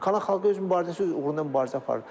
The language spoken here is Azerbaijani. Kanaxalqı öz mübarizəsi, uğrunda mübarizə aparır.